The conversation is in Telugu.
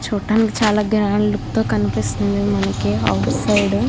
చూడ్డానికి చాలా గ్రాండ్ లుక్ అయితే కనిపిస్తుంది మనకి ఆఫీసు సైడ్ .